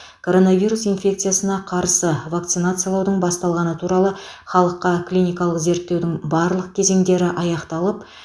коронавирус инфекциясына қарсы вакцинациялаудың басталғаны туралы халыққа клиникалық зерттеудің барлық кезеңдері аяқталып